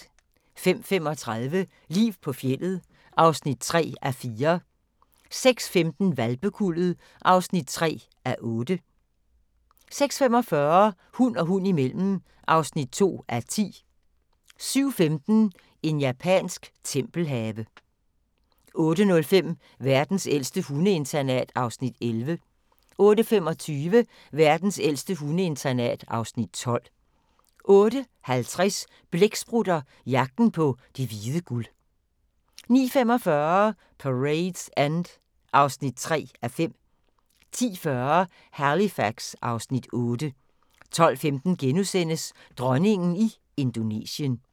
05:35: Liv på fjeldet (3:4) 06:15: Hvalpekuldet (3:8) 06:45: Hund og hund imellem (2:10) 07:15: En japansk tempelhave 08:05: Verdens ældste hundeinternat (Afs. 11) 08:25: Verdens ældste hundeinternat (Afs. 12) 08:50: Blæksprutter – jagten på det hvide guld 09:45: Parade's End (3:5) 10:40: Halifax (Afs. 8) 12:15: Dronningen i Indonesien *